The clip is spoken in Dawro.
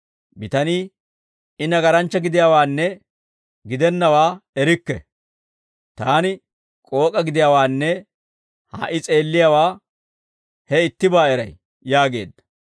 Bitanii, «I nagaranchcha gidiyaawaanne, gidennawaa erikke; taani k'ook'a gidiyaawaanne ha"i s'eelliyaawaa he ittibaa eray» yaageedda.